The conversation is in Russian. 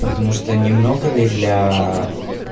потому что не много ли для